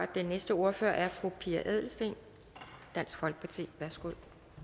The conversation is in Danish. den næste ordfører er fru pia adelsteen dansk folkeparti værsgo